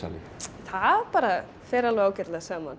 það bara fer alveg ágætlega saman